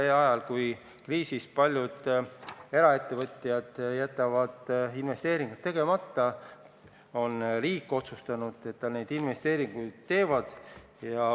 Ajal, kui kriisis paljud eraettevõtjad jätavad investeeringud tegemata, on riik otsustanud, et ta investeeringuid teeb.